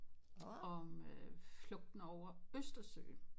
Om flugten over østersøen